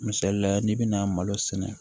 Misalila n'i bɛna malo sɛnɛ